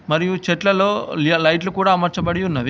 మరియు చెట్లలో లి-లైట్లు కూడా అమర్చబడి ఉన్నవి.